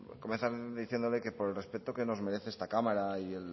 comenzar diciéndole que por el respeto que nos merece esta cámara